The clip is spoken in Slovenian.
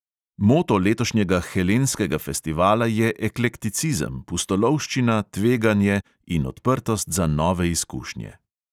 Moto letošnjega helenskega festivala je eklekticizem, pustolovščina, tveganje in odprtost za nove izkušnje.